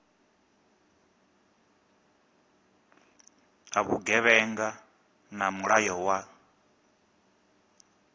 a vhugevhenga na mulayo wa